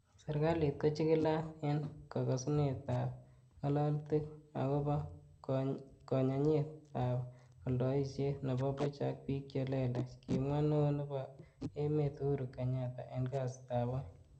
Serkalit kochigilat en kogesunetab ngalolutik agobo koyonyinet ab oldoisiet nebo buch ak bik che lelach, Kimwa Neo nebo emet Uhuru Kenyatta en kasitab Oeng.